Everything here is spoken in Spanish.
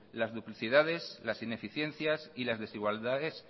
las duplicidades las ineficiencias y las desigualdades